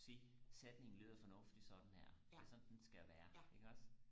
sige sætningen lyder fornuftig sådan her det er sådan den skal være iggås